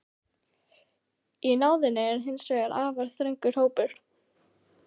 Í náðinni er hins vegar afar þröngur hópur.